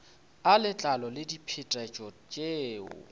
a letlalo le diphetetšo tšeo